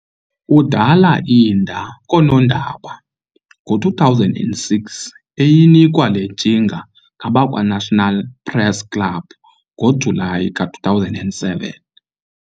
udala iinda koonondaba ngo-2006, eyinikwa le ntshinga ngabakwa-National press club ngoJuly ka-2007.